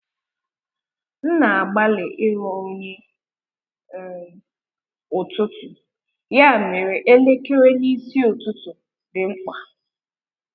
M na-agbalị ịghọ onye um ụtụtụ, ya mere elekere n’isi ụtụtụ dị mkpa.